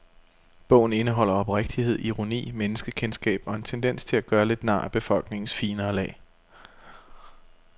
Bogen indeholder oprigtighed, ironi, menneskekendskab og en tendens til at gøre lidt nar af befolkningens finere lag.